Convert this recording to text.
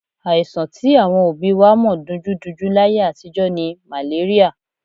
Àìsàn tí àwọn òbí wa mọ̀ dunjúdunjú láyé àtijọ́ ni màléríà.